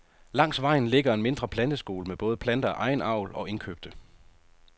Langs vejen ligger en mindre planteskole med både planter af egen avl og indkøbte.